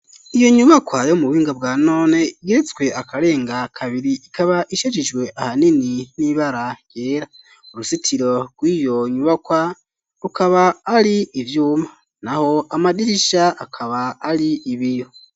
Iyo nyubakwayo mu buhinga bwa none igeretswe akarenga kabiri ikaba ishejijwe ahanini n'ibara yera urusitiro rw'iyo nyubakwa rukaba ari ivyuma na ho amadirisha akaba ari ibiyo.